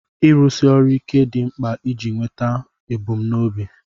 Ịrụsi ọrụ ike dị mkpa iji nweta ebumnobi.